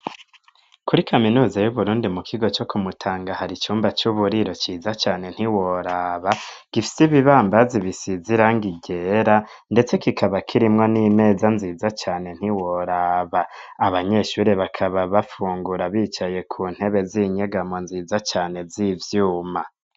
Kuri kaminuza y'uburundi ,mu kigo co kumutanga ,hari icumba c'uburiro ciza cane ntiworaba, gifise ibibambazi bisize irangi ryera ,ndetse kikaba kirimwo n'imeza nziza cane ntiworaba, abanyeshuri bakaba bafungura bicaye ku ntebe z'inyegamo nziza cane z'ivyuma.